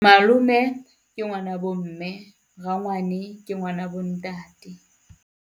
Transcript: Malome ke ngwana bo mme, rangwane ke ngwana bo ntate.